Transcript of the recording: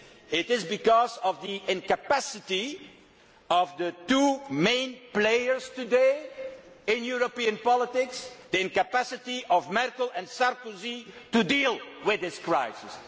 It is because of the incapacity of the two main players today in European politics, the incapacity of Merkel and Sarkozy to deal with this crisis.